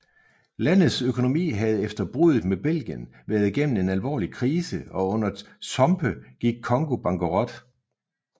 Landets økonomi havde efter bruddet med Belgien været gennem en alvorlig krise og under Tshombe gik Congo bankerot